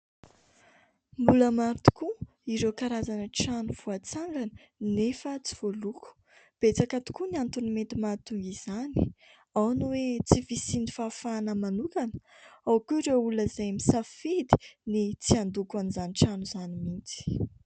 Mbola maro tokoa ireo karazana trano voatsangana nefa tsy voaloko. Betsaka tokoa ny antony mety mahatonga izany : ao ny hoe tsy fisian'ny fahafahana manokana, ao koa ireo olona izay misafidy ny tsy handoko an'izany trano izany mihitsy.